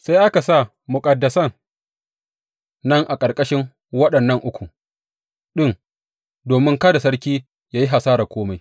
Sai aka sa muƙaddasan nan a ƙarƙashin waɗannan uku ɗin domin kada sarki ya yi hasarar kome.